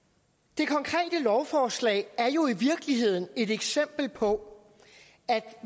det konkrete lovforslag er jo i virkeligheden et eksempel på at